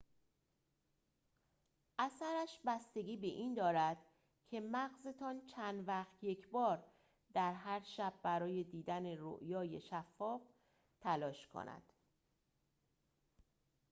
اثرش بستگی به این دارد که مغزتان چند وقت یکبار در هر شب برای دیدن رؤیای شفاف تلاش کند